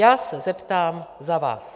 Já se zeptám za vás.